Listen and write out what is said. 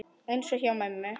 Eins og hjá mömmu.